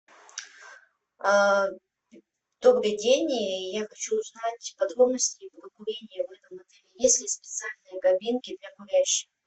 добрый день я хочу узнать подробности про курение в этом отеле есть ли специальные кабинки для курящих